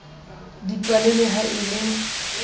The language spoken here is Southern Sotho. dipale le ha e le